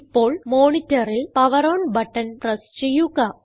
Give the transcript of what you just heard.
ഇപ്പോൾ monitorൽ power on button press ചെയ്യുക